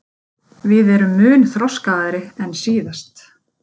Við erum mun þroskaðri en síðast